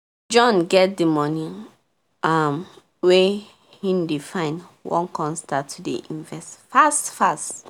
john get the work um wey he dey find wan con start to dey invest fast fast